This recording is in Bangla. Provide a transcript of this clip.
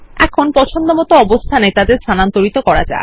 এখন তাদের পছন্দসই অবস্থানে স্থানান্তরিত করা যাক